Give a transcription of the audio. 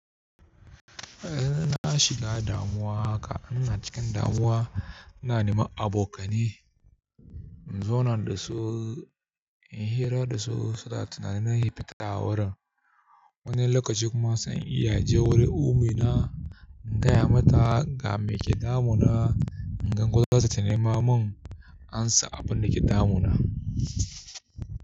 Eh na shiga damuwa haka, ina cikin damuwa ina neman abokanai. In zauna da su, in hira da su, suna tunanin na yi fitasawar. Wani lokaci kuma zan iya je wurin ummina in gaya mata game ke damunana, in gan ko zata nema mun amsa abin da ke damuna.